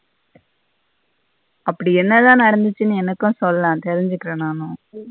அப்படி என்னத நடந்தச்சினு எனக்கு சொல்லே தெரிஞ்சிக்குற நானு.